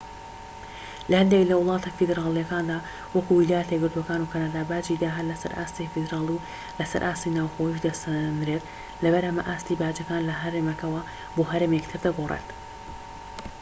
لە هەندێك لە وڵاتە فیدراڵیەکاندا وەکو ویلایەتە یەکگرتوەکان و کەنەدا باجی داهات لەسەر ئاستی فیدرالی و لەسەر ئاستی ناوخۆییش دەسەنرێت لەبەر ئەمە ئاستی باجەکان لە هەرێمێکەوە بۆ هەرێمێکی تر دەگۆڕێت